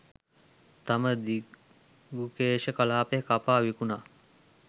තම දිගුකේශ කලාපය කපා විකුණා